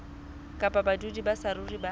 kapa badudi ba saruri ba